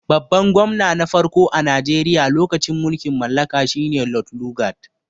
Babban gwamna na farko a Najeriya lokacin mulkin mallaka shi ne Lod lugad.